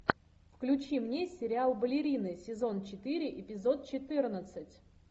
включи мне сериал балерины сезон четыре эпизод четырнадцать